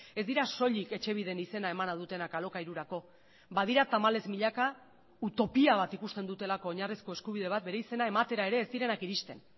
ez dira soilik etxebiden izena emana dutenak alokairurako badira tamalez milaka utopia bat ikusten dutelako oinarrizko eskubide bat bere izena ematera ere ez direnak iristen